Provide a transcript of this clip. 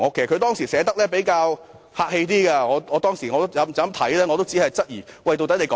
她當時寫得比較客氣，而我讀畢後也只是質疑她在說甚麼。